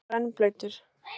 Og hann var rennblautur.